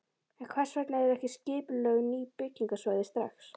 En hvers vegna eru ekki skipulögð ný byggingarsvæði strax?